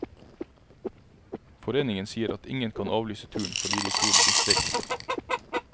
Foreningen sier at ingen kan avlyse turen fordi de tror det blir streik.